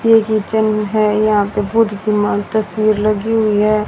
ये किचेन है यहां पे तस्वीर लगी हुई है।